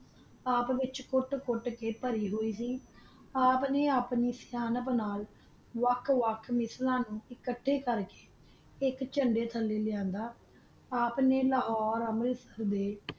ਆਪ ਚ ਕੋਟ ਕੋਟ ਕਾ ਪਾਰੀ ਹੋਈ ਸੀ ਆਪ ਨਾ ਆਪਣੀ ਸਨਤ ਬਣਾ ਲੀ ਵਖ ਵਖ ਨਸਲਾ ਨੂ ਅਖਾਤਾ ਕਰ ਕਾ ਏਕ ਚੰਦਾ ਥਲਾ ਲਾਂਦਾ ਆਪ ਨਾ ਲਾਹੋਰੇ ਅਮਲ ਕੀਤਾ